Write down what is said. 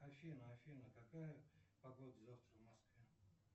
афина афина какая погода завтра в москве